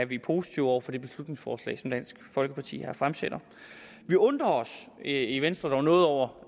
vi positive over for det beslutningsforslag som dansk folkeparti har fremsat vi undrer os i i venstre dog noget over